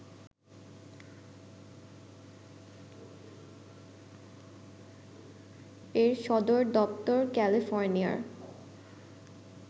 এর সদর দপ্তর ক্যালির্ফোনিয়ার